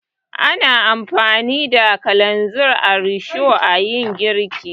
Ana amfani da kananzir a risho a yi girki.